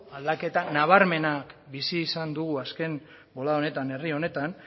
aldaketa nabarmena bizi izan dugu azken boladan herri honetan